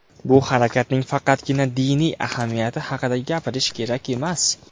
Bu harakatning faqatgina diniy ahamiyati haqida gapirish kerak emas.